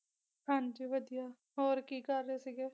ਹਾਂਜੀ ਵਧੀਆ ਹੋਰ ਕੀ ਕਰ ਰਹੇ ਸੀਗੇ